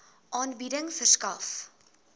aanbieding verskaf